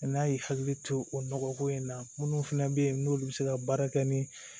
N'a y'i hakili to o nɔgɔko in na minnu fana bɛ yen n'olu bɛ se ka baara kɛ ni